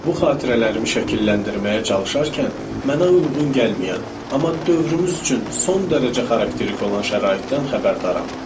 Bu xatirələrimi şəkilləndirməyə çalışarkən mənə uyğun gəlməyən, amma dövrümüz üçün son dərəcə xarakterik olan şəraitdən xəbərdaram.